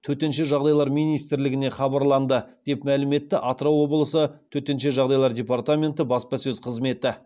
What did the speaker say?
төтенше жағдайлар министрлігіне хабарланды деп мәлім етті атырау облысы төтенше жағдайлар департаменті баспасөз қызметі